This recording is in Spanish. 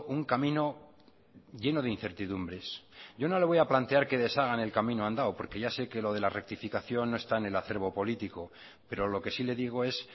un camino lleno de incertidumbres yo no le voy a plantear que deshagan el camino andado porque ya se que lo de la rectificación no está en el acerbo político pero lo que sí le digo es